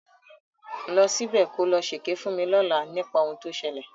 Lọ ṣíbẹ̀ ko lọ ṣèké fún mi lọ́làá nípa ohun tó ṣẹlẹ̀.